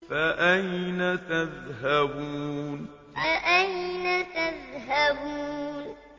فَأَيْنَ تَذْهَبُونَ فَأَيْنَ تَذْهَبُونَ